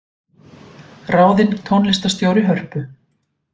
Ráðin tónlistarstjóri Hörpu